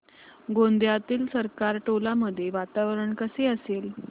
गोंदियातील सरकारटोला मध्ये वातावरण कसे असेल